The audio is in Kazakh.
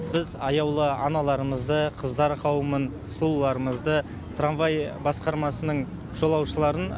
біз аяулы аналарымызды қыздар қауымын сұлуларымызды трамвай басқармасының жолаушыларын